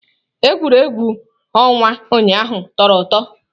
Egwuregwu ọnwa ụnyaahụ tọrọ ụtọ.